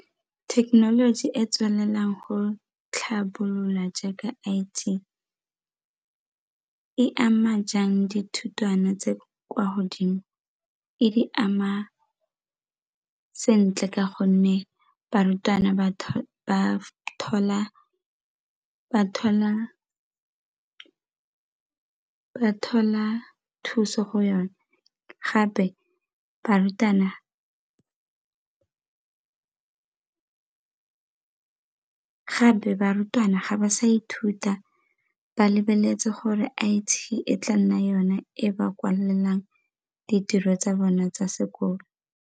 Thekenoloji e e tswelelang go tlhabolola jaaka I_T e ama jang dithutwana tse kwa godimo? E di ama sentle ka gonne barutwana ba thola thuso go yone gape barutwana ga ba sa ithuta ba lebeletse gore I_T e tla nna yone e ba kwalelang ditiro tsa bona tsa sekolo.